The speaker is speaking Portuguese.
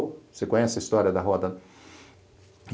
Você conhece a história da roda?